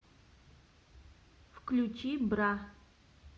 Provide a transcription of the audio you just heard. включи бра